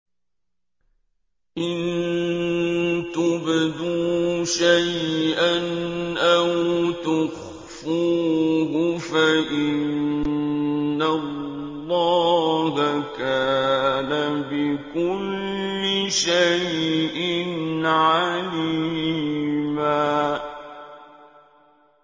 إِن تُبْدُوا شَيْئًا أَوْ تُخْفُوهُ فَإِنَّ اللَّهَ كَانَ بِكُلِّ شَيْءٍ عَلِيمًا